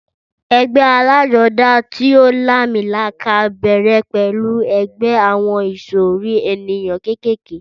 Ẹgbẹ́ alájodá tí o làmìlaka bèrè pẹlú ẹgbẹ àwọn ìsòrí ènìyàn kékèké